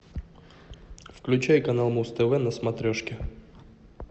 включай канал муз тв на смотрешке